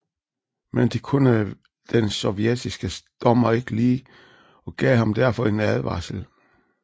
Men det kunne den sovjetiske dommer ikke lide og gav ham derfor en advarsel